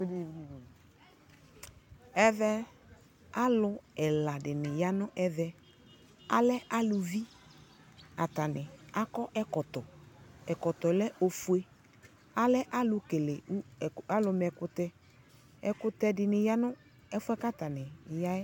Ɛvɛ alu ɛla dini, ya nu ɛvɛAlɛ aluviAtani akɔ ɛkɔtɔƐkɔtɔɛ lɛ ɔfue Alɛ kele, alu mɛ kutɛƐkutɛ dini ya nu ɛfuɛ atani ya yɛ